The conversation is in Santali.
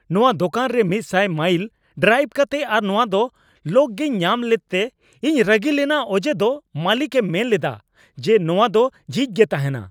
ᱱᱚᱶᱟ ᱫᱳᱠᱟᱱ ᱨᱮ ᱑᱐᱐ ᱢᱟᱭᱤᱞ ᱰᱨᱟᱭᱤᱵᱷ ᱠᱟᱛᱮ ᱟᱨ ᱱᱚᱶᱟ ᱫᱚ ᱞᱚᱠ ᱜᱮᱭ ᱧᱟᱢ ᱞᱮᱫᱛᱮ ᱤᱧ ᱨᱟᱹᱜᱤ ᱞᱮᱱᱟ ᱚᱡᱮ ᱫᱚ ᱢᱟᱹᱞᱤᱠ ᱮ ᱢᱮᱱ ᱞᱮᱫᱟ ᱡᱮ ᱱᱚᱶᱟ ᱫᱚ ᱡᱷᱤᱡ ᱜᱮ ᱛᱟᱦᱮᱱᱟ ᱾